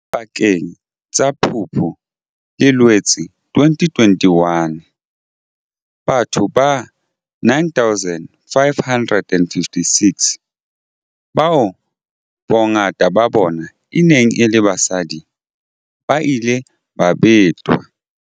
Pakeng tsa Phupu le Loetse 2021, batho ba 9 556, bao bongata ba bona e neng e le basadi, ba ile ba betwa.